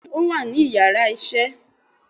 bẹẹni o wa ni íyarà isé.